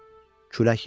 Külək yatdı.